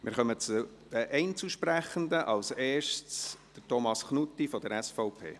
Wir kommen zu den Einzelsprechenden: als Erster Thomas Knutti von der SVP.